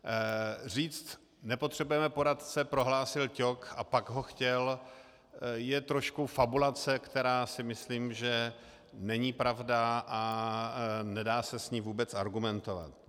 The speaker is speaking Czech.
Říct nepotřebujeme poradce, prohlásil Ťok, a pak ho chtěl, je trošku fabulace, která si myslím, že není pravda a nedá se s ní vůbec argumentovat.